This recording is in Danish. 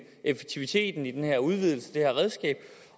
effektiviteten i den her udvidelse det her redskab